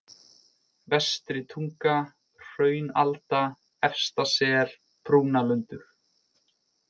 Vestri-Tunga, Hraunalda, Efsta-Sel, Brúnalundur